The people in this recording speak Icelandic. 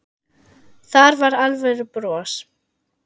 Það var alvöru bros.